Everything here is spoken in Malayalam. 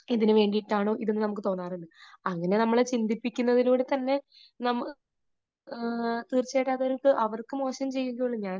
ഇതിനുവേണ്ടി ആയിട്ടാണോ ഇതൊന്ന് നമുക്ക് തോന്നാറുണ്ട്. അങ്ങനെ നമ്മളെ ചിന്തിപ്പിക്കുന്ന അതിലൂടെ തന്നെ, നമ്മ അത് തീർച്ചയായിട്ടും അവർക്ക് മോശം ചെയ്യുകയേ ഉള്ളൂ. ഞാൻ